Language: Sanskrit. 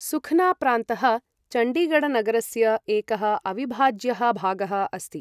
सुखना प्रान्तः चण्डीगढ़नगरस्य एकः अविभाज्यः भागः अस्ति।